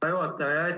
Hea juhataja!